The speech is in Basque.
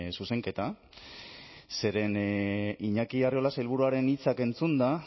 zuzenketa zeren iñaki arriola sailburuaren hitzak entzunda